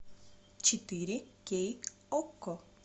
четыре кей окко